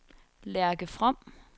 Lærke From